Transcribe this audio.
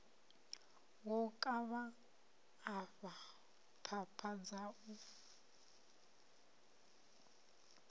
wo kavha afha phapha dzau